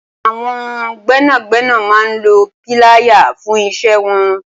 Awọn gbẹnágbẹná mà n ló pìláyá fùn iṣẹ̀ wọn